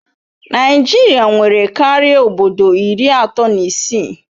Naijiria nwere karịa obodo iri atọ na isii